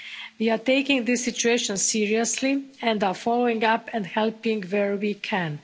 We are taking this situation seriously, and are following up and helping where we can.